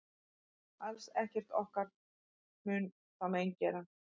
Alls ekkert mun okkur þá mein gera.